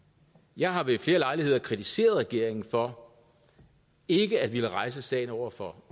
jeg har ved flere lejligheder kritiseret regeringen for ikke at ville rejse sagen over for